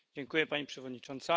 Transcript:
Pani Przewodnicząca!